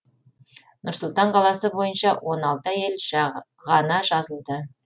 нұр сұлтан қаласы бойынша он алты әйел ғана жазылды